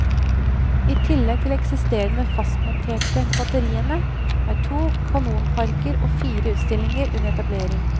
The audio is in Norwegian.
I tillegg til de eksisterende fastmonterte batteriene, er to kanonparker og fire utstillinger under etablering.